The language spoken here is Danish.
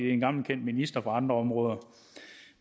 er en gammel kendt minister fra andre områder